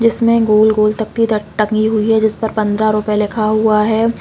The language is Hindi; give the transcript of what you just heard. जिसमें गोल -गोल तकदी टंगी हुई है जिस पर पन्द्रह रूपये लिखा हुआ है।